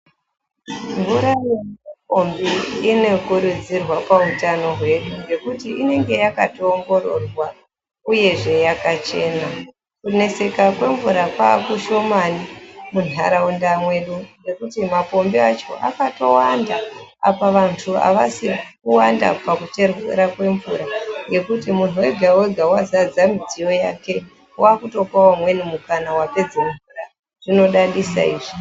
Mvura yemupombi inokurudzirwa pautano hwedu nekuti inenge yakotoongororwa uyezve yakachena kuneseka kwemvura kwaakushomani munharaunda mwedu ngekuti mapombi acho akatowanda apa vantu avazi kuwanda pakucherwa kwemvura nekuti munhu wega wega wazadza midziyo yake waakutopawo amweni vapedze mvura, zvinodadisa izvi.